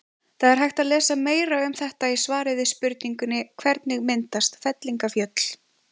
Það er hægt að lesa meira um þetta í svari við spurningunni Hvernig myndast fellingafjöll?